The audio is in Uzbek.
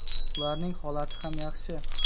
Ularning holati ham yaxshi.